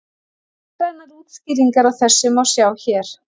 Myndrænar útskýringar á þessu má sjá hér.